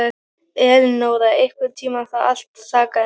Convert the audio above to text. Elinóra, einhvern tímann þarf allt að taka enda.